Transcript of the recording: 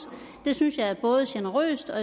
det synes jeg er både generøst og